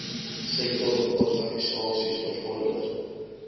sektor organisasies bevorder